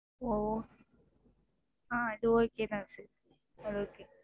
ஓ ஆஹ் அது okay தான் sir அது okay